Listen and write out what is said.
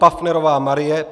Paffnerová Marie